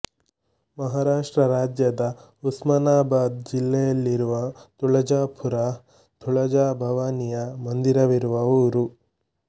ಮಹಾರಾಷ್ಟ್ರ ರಾಜ್ಯದ ಉಸ್ಮಾನಾಬಾದ್ ಜಿಲ್ಲೆಯಲ್ಲಿರುವ ತುಳಜಾಪುರ ತುಳಜಾ ಭವಾನಿಯ ಮಂದಿರವಿರುವ ಊರು